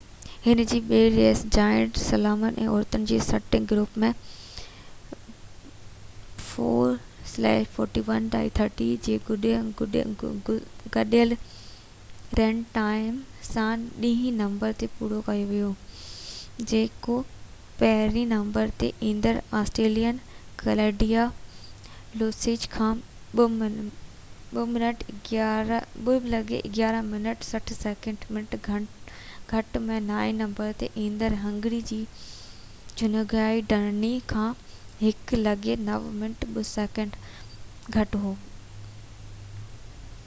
هن جي ٻي ريس، جائنٽ سلالوم، عورتن جي سٽنگ گروپ ۾ 4:41.30 جي گڏيل رن ٽائم سان ڏهين نمبر تي پورو ڪيو ، جيڪو پهريئن نمبر تي ايندڙ آسٽريلين ڪلاڊيا لوسچ کان 2:11.60 منٽ گهٽ ۽ نائين نمبر تي ايندڙ هنگري جي جيونگائي ڊاني کان 1:09.02 منٽ گهٽ هو